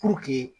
Puruke